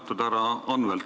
Austatud härra Anvelt!